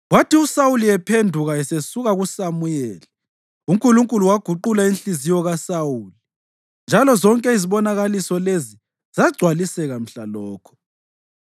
Kwathi uSawuli ephenduka esesuka kuSamuyeli, uNkulunkulu waguqula inhliziyo kaSawuli, njalo zonke izibonakaliso lezi zagcwaliseka mhlalokho.